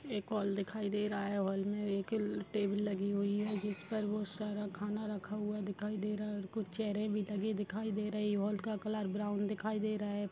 एक हॉल दिखाई दे रहा है हॉल में एक टेबल लगी हुई है जिस पर बहुत सारा खाना रखा हुआ दिखाई दे रहा है कुछ चेयर भी ढकी दिखाई दे रही हैं हॉल का कलर ब्राउन दिखाई दे रहा है।